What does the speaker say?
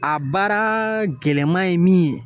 A baaraa gɛlɛman ye min ye